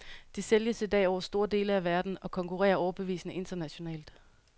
De sælges i dag over store dele af verden, og konkurrerer overbevisende internationalt.